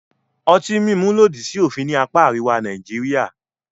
Ọtí mímu lòdì sí òfin ní apá àríwá Nàìjíríà.